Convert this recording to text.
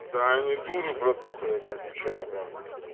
да они дуры братуха я тебе отвечаю прям